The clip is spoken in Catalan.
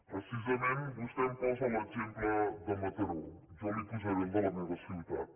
precisament vostè em posa l’exemple de mataró jo li posaré el de la meva ciutat